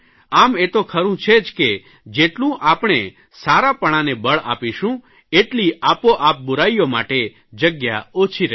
આમ એ તો ખરૂં છે જ કે જેટલું આપણે સારાપણાને બળ આપીશું એટચલી આપોઆપ બુરાઇઓ માટે જગ્યા ઓછી રહેશે